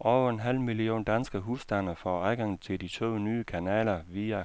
Over en halv million danske husstande får adgang til de to nye kanaler via